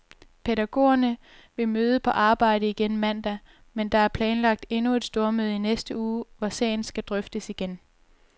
Pædagogerne vil møde på arbejde igen mandag, men der er planlagt endnu et stormøde i næste uge, hvor sagen skal drøftes igen.